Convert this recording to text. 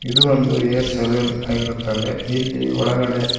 ಇದು ಒಂದು hair salon ಆಗಿರುತ್ತದೆ ಇಲ್ಲಿ ಒಳಗಡೆ--